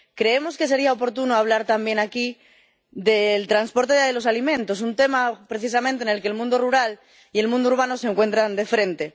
Creemos que sería oportuno hablar también aquí del transporte de los alimentos, un tema precisamente en el que el mundo rural y el mundo urbano se encuentran de frente